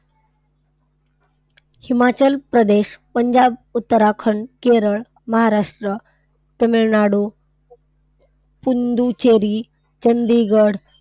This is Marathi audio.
हिमाचल प्रदेश, पंजाब, उत्तराखंड, केरळ, महाराष्ट्र, तमिळनाडू, पुद्दुचेरी, चंदिगढ,